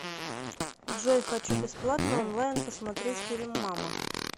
джой хочу бесплатно онлайн посмотреть фильм мама